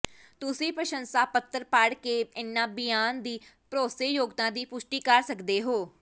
ਤੁਸੀਂ ਪ੍ਰਸੰਸਾ ਪੱਤਰ ਪੜ੍ਹ ਕੇ ਇਨ੍ਹਾਂ ਬਿਆਨ ਦੀ ਭਰੋਸੇਯੋਗਤਾ ਦੀ ਪੁਸ਼ਟੀ ਕਰ ਸਕਦੇ ਹੋ